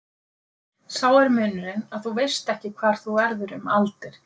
Sá er munurinn að þú veist ekki hvar þú verður um aldir.